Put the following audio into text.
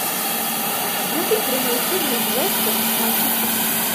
вруби прямой эфир лестер с манчестер сити